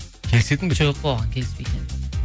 келісетін бе едің жоқ оған келіспейтін едім